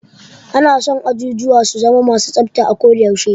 Ana son ajujuwa su zama ma su tsafta a ko da yaushe.